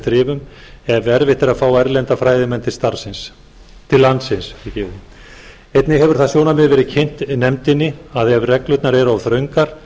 þrifum ef erfitt er að fá erlenda fræðimenn til landsins einnig hefur það sjónarmið verið kynnt nefndinni að ef reglurnar eru of þröngar